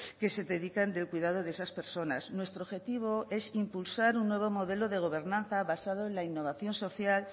que se dedican del cuidado de esas personas nuestro objetivo es impulsar un nuevo modelo de gobernanza basado en la innovación social